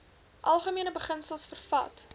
algemene beginsels vervat